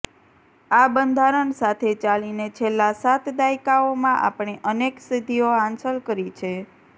આ બંધારણ સાથે ચાલીને છેલ્લા સાત દાયકાઓમાં આપણે અનેક સિદ્ધિઓ હાંસલ કરી છે